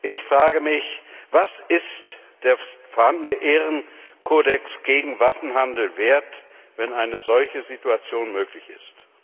Ich frage mich Was ist der vorhandene Ehrenkodex gegen Waffenhandel wert, wenn eine solche Situation möglich ist?